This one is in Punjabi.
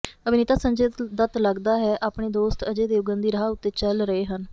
ਅਭਿਨੇਤਾ ਸੰਜੇ ਦੱਤ ਲੱਗਦਾ ਹੈ ਆਪਣੇ ਦੋਸਤ ਅਜੈ ਦੇਵਗਨ ਦੀ ਰਾਹ ਉੱਤੇ ਚਲ ਰਹੇ ਹਨ